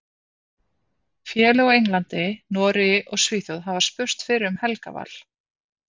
Félög á Englandi, Noregi og Svíþjóð hafa spurst fyrir um Helga Val.